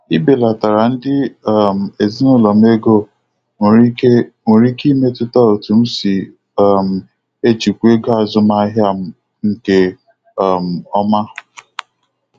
Ibelatara ndị um ezinụlọ m ego nwere ike nwere ike imetụta otu m si um ejikwa ego azụmahia m nke um ọma.